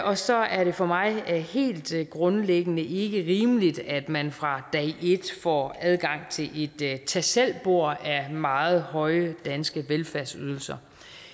og så er det for mig helt grundlæggende ikke rimeligt at man fra dag et får adgang til et tag selv bord af meget høje danske velfærdsydelser